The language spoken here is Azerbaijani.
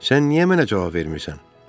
Sən niyə mənə cavab vermirsən?